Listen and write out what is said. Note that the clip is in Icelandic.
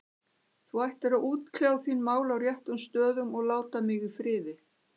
Þú ættir að útkljá þín mál á réttum stöðum og láta mig í friði.